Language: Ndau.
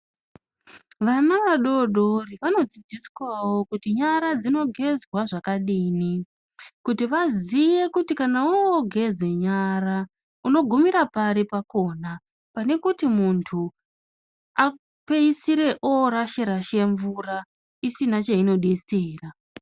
Vana vadodori vanodzidziswawo kuti nyara dzinogezwawo zvakadini kuti waziwe kuti kana wogeze nyara unogumira pari pakona pane kuti munhu apedzisira orashe rashe mvura isina chainodetsera.